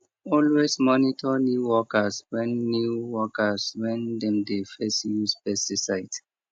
always monitor new workers when new workers when dem dey first use pesticide